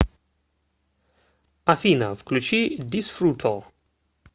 афина включи дисфруто